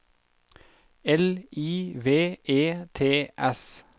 L I V E T S